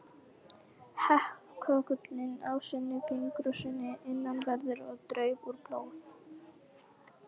Hékk köggullinn á skinni fingursins innanverðu, og draup úr blóð.